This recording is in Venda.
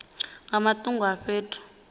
nga matungo a fhethu a